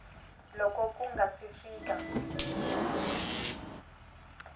loko ku nga si fika